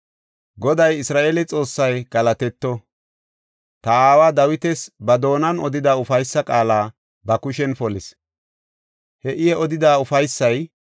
“Goday Isra7eele Xoossay galatetto! Ta aawa Dawitas ba doonan odida ufaysa qaala ba kushen polis. He I odida ufaysay,